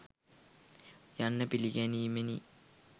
යන්න පිළිගැනීමෙනි